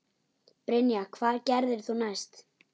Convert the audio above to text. Brynja: Hvað gerðir þú næst?